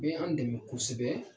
O y'an dɛmɛ kosɛbɛ.